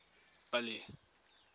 billy